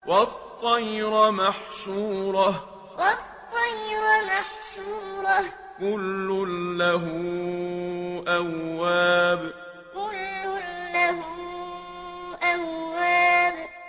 وَالطَّيْرَ مَحْشُورَةً ۖ كُلٌّ لَّهُ أَوَّابٌ وَالطَّيْرَ مَحْشُورَةً ۖ كُلٌّ لَّهُ أَوَّابٌ